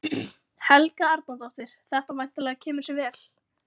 Helga Arnardóttir: Þetta væntanlega kemur sér vel?